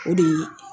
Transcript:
O de ye